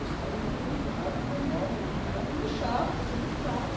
Os caras eram juizados de menores, o cara não deixava, você não entrava.